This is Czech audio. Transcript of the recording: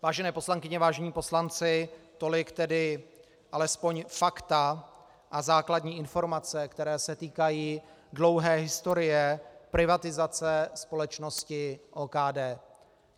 Vážené poslankyně, vážení poslanci, tolik tedy alespoň fakta a základní informace, které se týkají dlouhé historie privatizace společnosti OKD.